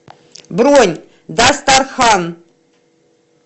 бронь дастархан